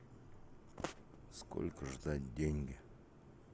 сколько ждать деньги